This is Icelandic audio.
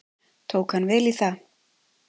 Tók hann vel í það.